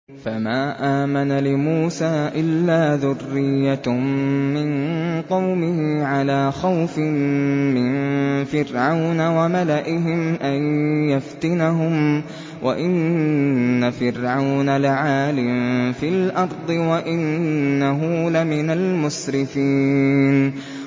فَمَا آمَنَ لِمُوسَىٰ إِلَّا ذُرِّيَّةٌ مِّن قَوْمِهِ عَلَىٰ خَوْفٍ مِّن فِرْعَوْنَ وَمَلَئِهِمْ أَن يَفْتِنَهُمْ ۚ وَإِنَّ فِرْعَوْنَ لَعَالٍ فِي الْأَرْضِ وَإِنَّهُ لَمِنَ الْمُسْرِفِينَ